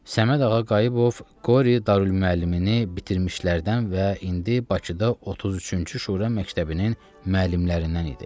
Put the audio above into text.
Səməd Ağa Qayıbov Qori Darülmüəllimini bitirmişlərdən və indi Bakıda 33-cü Şura məktəbinin müəllimlərindən idi.